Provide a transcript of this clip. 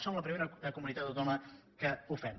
som la primera comunitat autònoma que ho fem